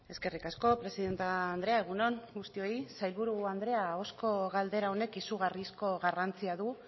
eskerrik asko presidente andrea egun on guztioi sailburu andrea ahozko galdera honek izugarrizko garrantzia du